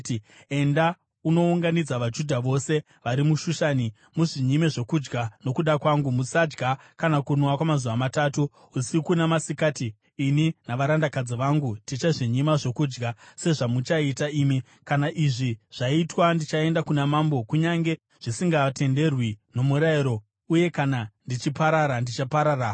“Enda unounganidza vaJudha vose vari muShushani, muzvinyime zvokudya nokuda kwangu. Musadya kana kunwa kwamazuva matatu, usiku namasikati. Ini navarandakadzi vangu tichazvinyima zvokudya sezvamuchaita imi. Kana izvi zvaitwa, ndichaenda kuna mambo, kunyange zvisingatenderwi nomurayiro. Uye kana ndichiparara, ndichaparara hangu.”